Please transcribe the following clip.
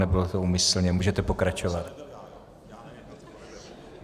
Nebylo to úmyslně, můžete pokračovat.